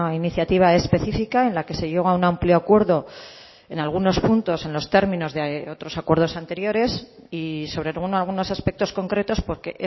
iniciativa específica en la que se llegó a un amplio acuerdo en algunos puntos en los términos de otros acuerdos anteriores y sobre algunos aspectos concretos porque